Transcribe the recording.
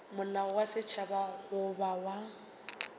molao wa setšhaba goba wa